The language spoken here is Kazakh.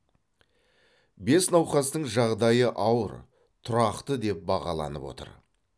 бес науқастың жағдайы ауыр тұрақты деп бағаланып отыр